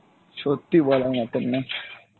সত্যি বলার মতন না।